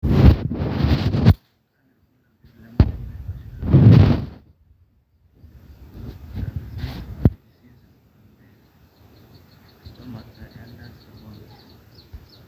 kanyio irbulalabul le moyian enkosheke najing iloik